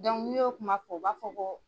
n'i y'o kuma fɔ u b'a fɔ ko.